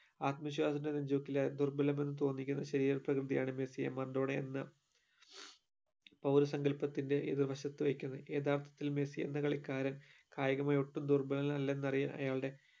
ആത്മവിശ്വാസ നെജുവർക്കിൽ ദുർഭലമല്ലെന്നു തോന്നിക്കുന്ന ശരീര പ്രകൃതി ആണ് മെസ്സി എന്ന മെർഡോണാ എന്ന പൗര സങ്കല്പത്തിന്റെ എതിർ വശത്തു വെക്കുന്നത് യഥാർത്ഥത്തിൽ മെസ്സി എന്ന കളിക്കാരൻ കായികമായി ഒട്ടും ദുർഭലനല്ലെന്ന് അയാളുടെ